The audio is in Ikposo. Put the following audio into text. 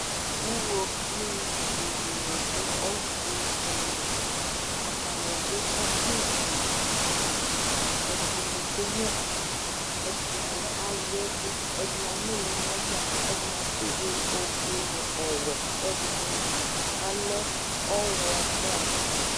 Uɣoviu bʋ dɩnɩ dʋ ɔfʋ dɩ li. Atanɩ dʋ ɔbɛ dɩ li. Ɛdɩnɩ kenyuǝ ivi. Ɛdɩnɩ aya ɛvʋ, ɛdɩnɩ anʋlɩ nʋ ɔmɔ, ɛdɩnɩ atsɩdʋ ofue nʋ ɔwɛ, ɛdɩnɩ alɛ ɔɣlɔmɔ.